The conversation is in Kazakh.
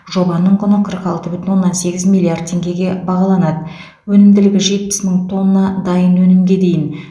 жобаның құны қырық алты бүтін оннан сегіз миллиард теңгеге бағаланады өнімділігі жетпіс мың тонна дайын өнімге дейін